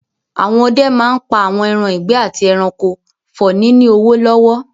Àwọn ọdẹ máa n pa àwọn ẹran ìgbẹ́ àti ẹranko for ní ní owó lọ́wọ́